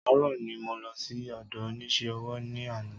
Àárò ni mo lọ sí ọ̀dọ onísé ọwọ́ ní ana